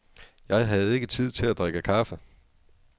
Jeg havde ikke tid til at drikke kaffe.